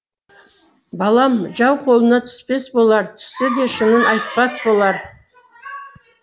балам жау қолына түспес болар түссе де шынын айтпас болар